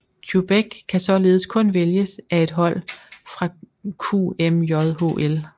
Quebec kan således kun vælges af et hold fra QMJHL